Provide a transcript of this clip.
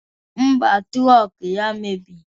Ḿbà, trọk ya mebiri.